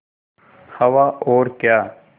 हवा और क्या